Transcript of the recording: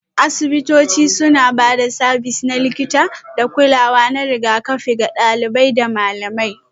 Asibitoci suna ba da sabis na likita da kulawa na rigakafi ga ɗalibai da malamai